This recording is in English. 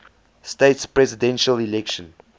states presidential election